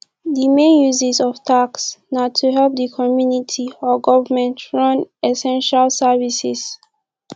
di main uses of tax na to help di community or government run essential services